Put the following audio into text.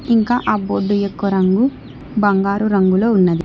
ఇంకా ఆ బోర్డు యొక్క రంగు బంగారు రంగులో ఉన్నది.